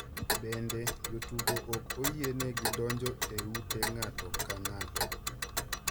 Bende, jotugo ok oyienegi donjo e ute ng’ato ka ng’ato.